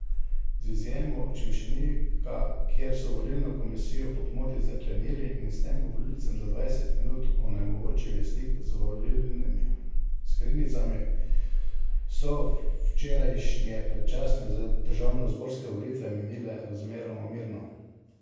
Z izjemo Čemšenika, kjer so volilno komisijo po pomoti zaklenili in s tem volilcem za dvajset minut onemogočili stik z volilnimi skrinjicami, so včerajšnje predčasne državnozborske volitve minile razmeroma mirno.